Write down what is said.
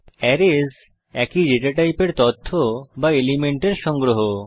arrays একই data টাইপের তথ্য বা এলিমেন্টের সংগ্রহ